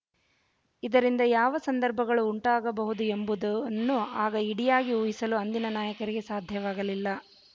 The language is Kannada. ಇದರಿಂದ ಯಾವ ಸಂದರ್ಭಗಳು ಉಂಟಾಗಬಹುದು ಎಂಬುದನ್ನು ಆಗ ಇಡಿಯಾಗಿ ಊಹಿಸಲು ಅಂದಿನ ನಾಯಕರಿಗೆ ಸಾಧ್ಯವಾಗಲಿಲ್ಲ